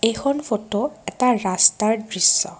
এখন ফটো এটা ৰাস্তাৰ দৃশ্য।